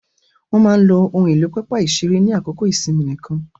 Wọ́n máa lo ohun èlò pápá ìṣeré ní àsìkò ìsinmi nìkan.